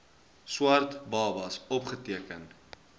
swart babas opgeteken